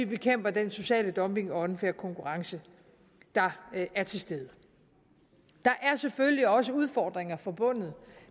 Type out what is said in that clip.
bekæmper den sociale dumping og unfair konkurrence der er til stede der er selvfølgelig også udfordringer forbundet